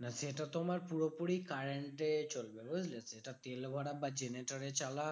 না সেটা তোমার পুরোপুরি current এ চলবে বুঝলে? এটা তেল ভরা বা generator এ চালা